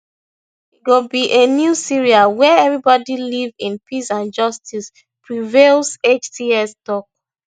e go be a new syria wia everyone live in peace and justice prevail hts tok